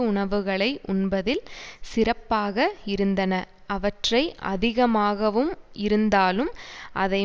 உணவுகளை உண்பதில் சிறப்பாக இருந்தன அவற்றை அதிகமாகவும் இருந்தாலும் அதை